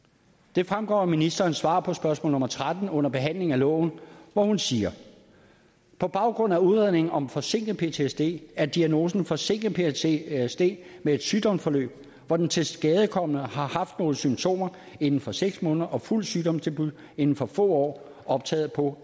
det fremgår af ministerens svar på spørgsmål nummer tretten under behandlingen af loven hvor hun siger på baggrund af udredningen om forsinket ptsd er diagnosen forsinket ptsd med et sygdomsforløb hvor den tilskadekomne har haft nogle symptomer inden for seks måneder og fuld sygdomsdebut inden for få år optaget på